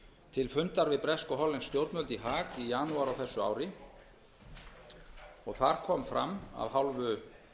til fundar við bresk og hollensk stjórnvöld í haag í janúar á þessu ári þar kom fram af hálfu